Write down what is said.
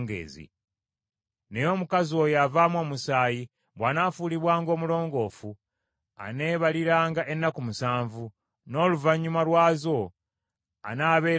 Naye omukazi oyo avaamu omusaayi bw’anaafuulibwanga omulongoofu, aneebaliranga ennaku musanvu, N’oluvannyuma lwazo anaabeeranga mulongoofu.